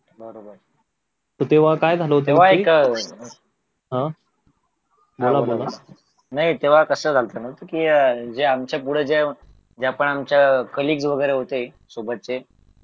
नाही तेव्हा कस झालं होत ना कि जे आमच्या पुढे होते ना जपान च्या कलीग वगैरे होते सोबतचे